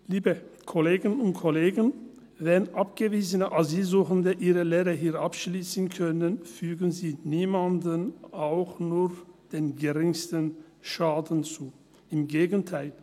Liebe Kolleginnen und Kollegen, wenn abgewiesene Asylsuchende ihre Lehre hier abschliessen können, fügen sie niemandem auch nur den geringsten Schaden zu, im Gegenteil.